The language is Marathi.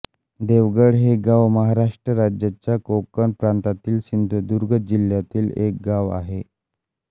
देवगड हे गाव महाराष्ट्र राज्याच्या कोकण प्रांतातील सिंधुदुर्ग जिल्ह्यातील एक गाव आहे